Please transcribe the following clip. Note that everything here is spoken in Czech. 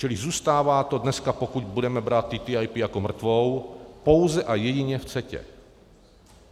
Čili zůstává to dneska, pokud budeme brát TTIP jako mrtvou, pouze a jedině v CETA.